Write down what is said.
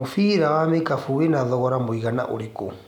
mũbira wa ikabũ wĩna thogora mũigana ũrikũ